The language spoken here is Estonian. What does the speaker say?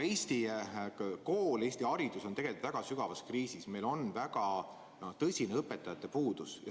Eesti kool ja Eesti haridus on tegelikult väga sügavas kriisis, meil on väga tõsine õpetajate puudus.